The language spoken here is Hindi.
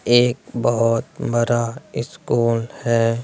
एक बहुत बड़ा स्कूल है।